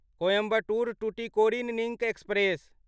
Coimbatore Tuticorin link express